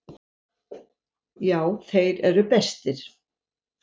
Já, þeir eru bestir.